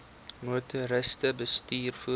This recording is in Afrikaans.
motoriste bestuur voertuie